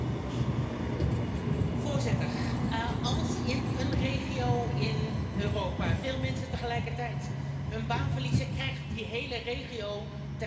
Voorzitter, als in een regio in Europa veel mensen tegelijkertijd hun baan verliezen, krijgt die hele regio tegelijkertijd een klap.